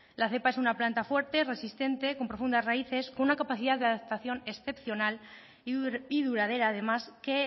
la cepa es una planta fuerte resistente con profundas raíces con una capacidad de adaptación excepcional y duradera además que